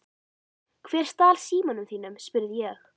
Hver stal símanum þínum? spurði ég.